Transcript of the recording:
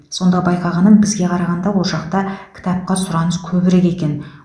сонда байқағаным бізге қарағанда ол жақта кітапқа сұраныс көбірек екен